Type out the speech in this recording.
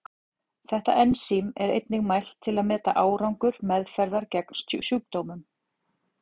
Þetta ensím er einnig mælt til að meta árangur meðferðar gegn sjúkdómnum.